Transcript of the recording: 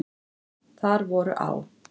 Þar voru á.